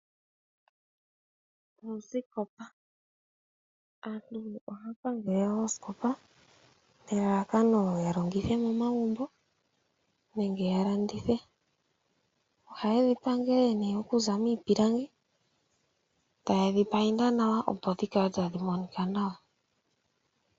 Aantu ohaya pangele oosikopa nelalakano ya longithe momagumbo nenge ya landithe. Ohaye dhi pangele nee okuza miipilangi, taye dhi painda nawa opo dhi kale tadhi monika nawa.